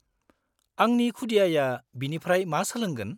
-आंनि खुदियाआ बेनिफ्राय मा सोलोंगोन?